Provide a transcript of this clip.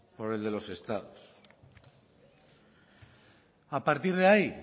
por el de los estados a partir de ahí